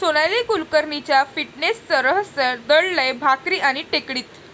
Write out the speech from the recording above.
सोनाली कुलकर्णीच्या फिटनेसचं रहस्य दडलंय भाकरी आणि टेकडीत!